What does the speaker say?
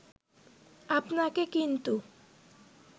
আপনাকে কিন্তু